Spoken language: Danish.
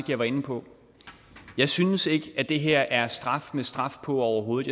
jeg var inde på jeg synes ikke at det her er straf med straf på overhovedet